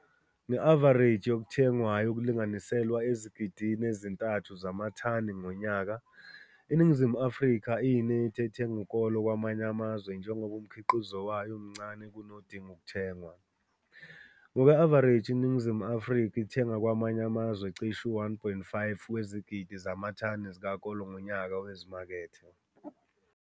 Nge-avareji yokuthengwayo okulinganiselwa ezigidini ezi-3 zamathani ngonyaka, iNingizimu Afrika iyinethi ethenga ukolo kwamanye amazwe njengoba umkhiqizo wayo umncane kakhulu kunodinga ukuthengwa. Ngokwe-avareji iningizimu Afrika ithenga kwamanye amazwe cishe u-1,5 wezigidi zamathani zikakolo ngonyaka wezimakethe.